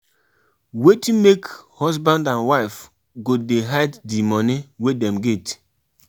Plan for di security of di pipo wey wey you dey invite come di party